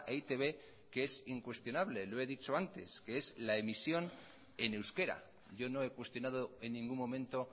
e i te be que es incuestionable lo he dicho antes que es la emisión en euskera yo no he cuestionado en ningún momento